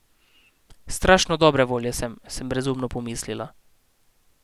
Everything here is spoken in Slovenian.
Strašno dobre volje sem, sem brezumno pomislila.